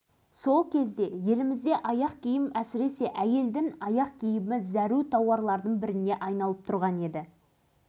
жай ғана қосып қойған жоқ жұмысшылар үшін салынған отыз пәтерлі үйдің кілтін қоса тапсырды